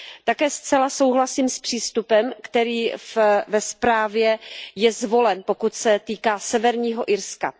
Také zcela souhlasím s přístupem, který ve zprávě je zvolen, co se týká Severního Irska.